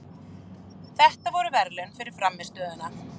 Þetta voru verðlaun fyrir frammistöðuna.